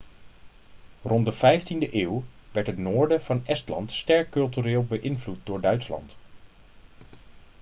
rond de vijftiende eeuw werd het noorden van estland sterk cultureel beïnvloed door duitsland